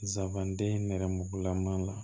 Zabanden nɛrɛmuguma la